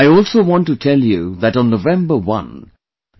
I also want to tell you that on November 1, i